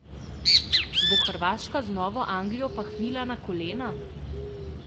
Bo Hrvaška znova Anglijo pahnila na kolena?